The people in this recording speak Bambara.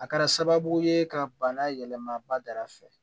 A kɛra sababu ye ka bana yɛlɛma ba da fɛ